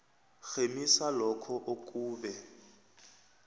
rhemisa lokho okube